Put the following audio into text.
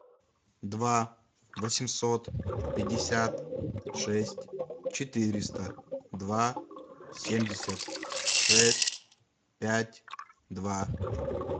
два восемьсот пятьдесят шесть четыреста два семьдесят шесть пять два